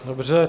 Dobře.